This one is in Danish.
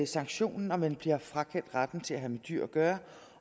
sanktion når man bliver frakendt retten til at have med dyr at gøre